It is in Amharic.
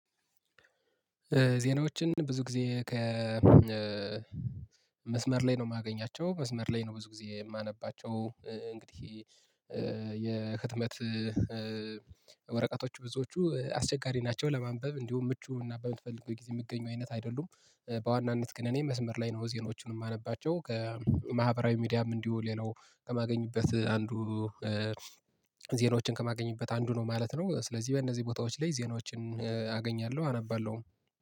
ዜናዎችን ብዙ ጊዜ ከመስመር ላይ ነው የማገኛቸው መስመር ላይ ነው ብዙ ጊዜ የማነባቸው እንግዲህ የህትመት ወረቀቶቹ ብዙዎቹ አስቸጋሪ ናቸው። ለማንበብ እንዲሁም ምቹ እና በምትፈልገው ጊዜ የሚገኙ አይነት አይደሉም። በዋናነት ግን እኔ መስመር ላይ ነው ዜናወቹን የማነባቸው ከማህበራዊ ሚዲያም እንዲሁ ሌላው ከማገኝበት አንዱ ዜናዎችን ከማገኝበት አንዱ ነው ማለት ነው። ስለዚህ በእነዚህ ቦታዎች ላይ ዜናዎችን አገኛለሁ አነባለሁ።